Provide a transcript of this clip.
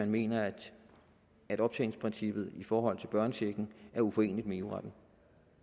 mener at optjeningsprincippet i forhold til børnechecken er uforeneligt med eu retten